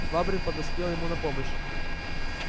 швабрин подоспел ему на помощь